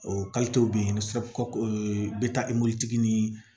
O bɛ yen ni